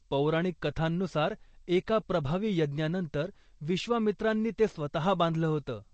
पौराणिक कथांनुसार, एका प्रभावी यज्ञानंतर विश्वामित्रांनी ते स्वतः बांधलं होतं.